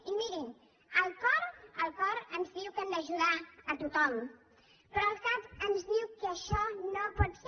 i mirin el cor el cor ens diu que hem d’ajudar tothom però el cap ens diu que això no pot ser